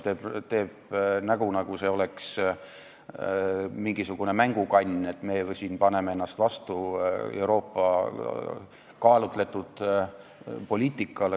Ta teeb näo, nagu see oleks mingisuguse mängukanni kasutamine, kui paneme vastu Euroopa kaalutletud poliitikale.